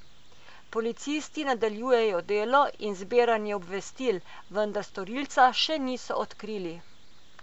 Policisti nadaljujejo delo in zbiranje obvestil, vendar storilca še niso odkrili.